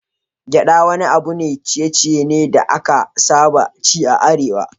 Gyaɗa wani abun ciye-ciye ne da aka saba ci a Arewa.